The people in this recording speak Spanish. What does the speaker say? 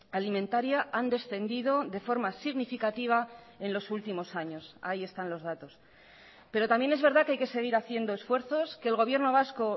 alimentaria han descendido de forma significativa en los últimos años ahí están los datos pero también es verdad que hay que seguir haciendo esfuerzos que el gobierno vasco